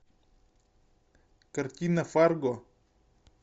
картина фарго